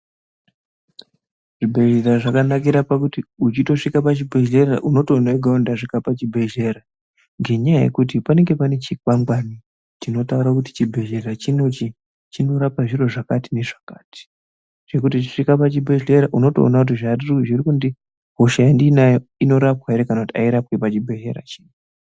Zvibhedhlera zvakanakira pakuti uchitosvika pachibhedhlera unotoona kuti ndega ndasvika pachibhedhlera ngenyaya yekuti panenge pane chikwangwari chinotaura kuti chibhedhlera chinochi chinorapa zviro zvakati nezvakati zvekuti uchisvika pachibhedhlera unotoona kuti hosha yandonayo inorapwa hre kana kuti airapwi pachibhedhlera ichi.